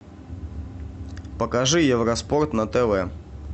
покажи евро спорт на тв